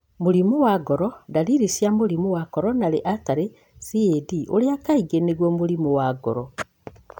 Mũrimũ wa ngoro ndariri cia mũrimũ wa coronary artery (CAD)ũrĩa kaingĩ nĩguo mũrimũ wa ngoro